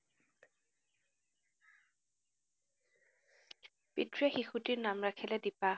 পিতৃয়ে শিশুটিৰ নাম ৰাখিলে দীপা।